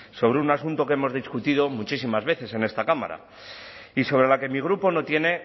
sobre un asunto que hemos discutido muchísimas veces en esta cámara y sobre la que mi grupo no tiene